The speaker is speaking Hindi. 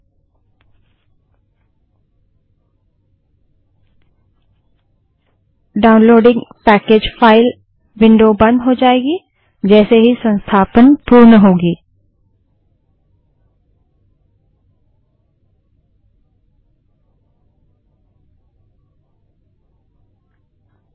downloading package file downloading package file window बंद हो जायेगी जैसे ही संस्थापन पूर्ण हो जायेगा